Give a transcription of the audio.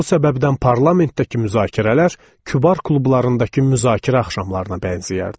Bu səbəbdən parlamentdəki müzakirələr kübar klublarındakı müzakirə axşamlarına bənzəyərdi.